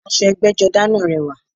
Aṣọ ẹgbẹ́jọdá náà rẹwà